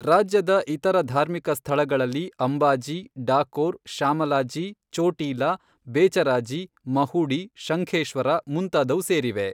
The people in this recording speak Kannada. ರಾಜ್ಯದ ಇತರ ಧಾರ್ಮಿಕ ಸ್ಥಳಗಳಲ್ಲಿ ಅಂಬಾಜಿ, ಡಾಕೋರ್, ಶಾಮಲಾಜಿ, ಚೋಟೀಲಾ, ಬೇಚರಾಜಿ, ಮಹುಡೀ, ಶಂಖೇಶ್ವರ ಮುಂತಾದವು ಸೇರಿವೆ.